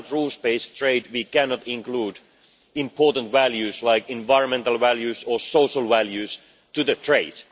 Without rules based trade we cannot include important values like environmental or social values in trade.